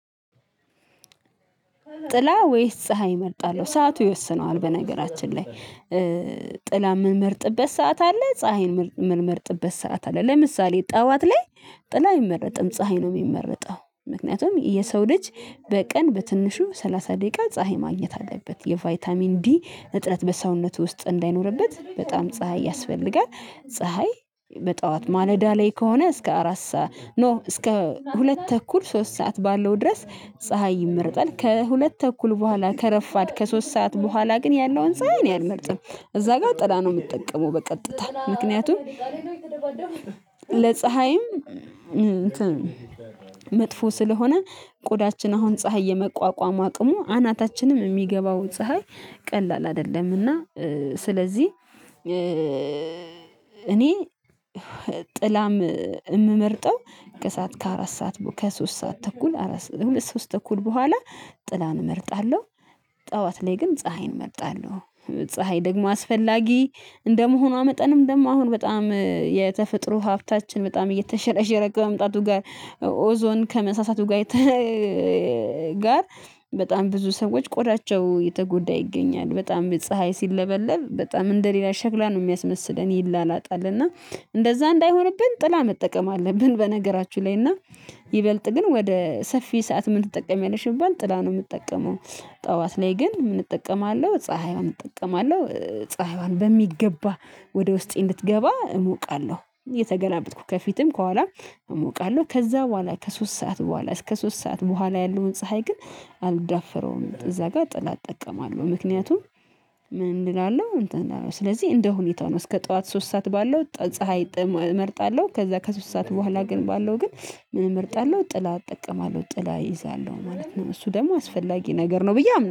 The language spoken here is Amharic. ጥላ ወይስ ፀሀይ እመርጣለሁ። ሰዓቱ ይወስነዋል በነገራችን ላይ ጥላ የምንመርጥበት ሰዓት አለ ፀሀይን የምንመርጥበት ሰዓት አለ። ለምሳሌ ጠዋት ላይ ጥላ አይመረጥም ፀሀይ ነው የሚመረጠው ምክንያቱም የሰው ልጅ በቀን በትንሹ ሰላሳ ደቂቃ ፀሀይ ማግኘት አለበት የቫይታሚን ዲ እጥረት በሰውነቱ ውስጥ እንዳይኖርበት በጣም ፀሀይ ያስፈልጋል። ፀሀይ በጠዋት ማለዳ ላይ ከሆነ እስከ አራት ሰዓት ኖ እስከ ሁለት ተኩል ሶስት ሰዓት ባለው ድረስ ፀሀይ ይመርጣል። ከሁለት ተኩል በኋላ ከረፋድ ከሶስት ሰዓት በኋላ ግን ያለውን ፀሀይ ነው አልመርጥም እዚያ ጋር ጥላ ነው የምጠቀመው። በቀጥታ ምክንያቱም ለፀሀይም መጥፎ ስለሆነ ቆዳችን አሁን ፀሀይ የመቋቋም አቅሙ አናታችንም የሚገባው ፀሀይ ቀላል አይደለምና። ስለዚህ እኔ ጥላም የምመርጠው ከሰአት ከአራት ሰዓት ከሶስት ሰዓት ተኩል አራት ሁለት ሶስት ተኩል በኋላ ጥላን እመርጣለሁ። ጠዋት ላይ ግን ፀሀይን እመርጣለሁ። ፀሀይ ደግሞ አስፈላጊ እንደመሆኗ መጠንም ደግሞ አሁን በጣም የተፈጥሮ ሀብታችን በጣም እየተሸረሸረ ከመምጣቱ ጋር ኦዞን ከመሳሳቱ ጋር ጋር በጣም ብዙ ሰዎች ቆዳቸው የተጎዳ ይገኛል በጣም በፀሀይ ሲለበለብ በጣም እንደሌላ ሸክላ ነው የሚያስመስለን ይላላጣል እና እንደዛ እንዳይሆንብን ጥላ መጠቀም አለብን። በነገራችሁ ላይ እና ይበልጥ ግን ወደ ሰፊ ሰዓት ምን ትጠቀሚያለሽ ብባል ጥላ ነው የምጠቀመው? ጠዋት ላይ ግን ምን እጠቀማለሁ ፀሀይዋን እጠቀማለሁ ፀሀይዋን በሚገባ ወደ ውስጤ እንድትገባ እሞቃለሁ እየተገላበጥኩ ከፊትም ከኋላም እሞቃለሁ ከዚያ በኋላ ከሶስት ሰዓት በኋላ እስከ ሶስት ሰዓት በኋላ ያለውን ፀሀይ ግን አልዳፈረውም እዚያ ጋር ጥላ እጠቀማለሁ። ምክንያቱም ምን እላለሁ እንትን እንዳልሆነ ስለዚህ እንደ ሁኔታው ነው እስከ ጠዋት ሶስት ሰዓት ባለው ፀሀይ ጥም እመርጣለሁ። ከዚያ ከሶስት ሰዓት በኋላ ግን ባለው ግን ምን እመርጣለሁ ጥላ እጠቀማለሁ ጥላ እይዛለሁ ማለት ነው። እሱ ደግሞ አስፈላጊ ነገር ነው ብዬ አምናለሁ